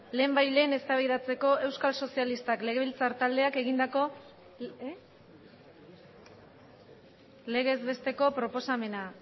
lehenbailehen eztabaidatzeko euskal sozialistak legebiltzar taldeak egindako legez besteko proposamena